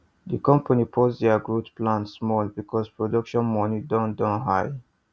the company pause their growth plan small because production money don don high